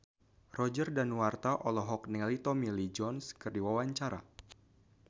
Roger Danuarta olohok ningali Tommy Lee Jones keur diwawancara